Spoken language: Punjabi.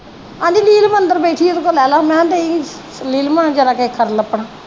ਅੰਦਰ ਬੈਠੀ ਉਹਦੇ ਕੋ ਲੇਲਾ ਮੈ ਕਿਹਾ ਦਈ ਨੀਲਮ ਆ ਜਰਾ ਕਾ ਖਰਲ ਆਪਣਾ